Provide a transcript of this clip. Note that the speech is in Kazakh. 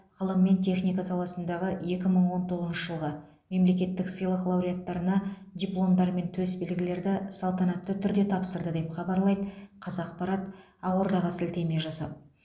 ғылым мен техника саласындағы екі мың он тоғызыншы жылғы мемлекеттік сыйлық лауреаттарына дипломдар мен төс белгілерді салтанатты түрде тапсырды деп хабарлайды қазақпарат ақордаға сілтеме жасап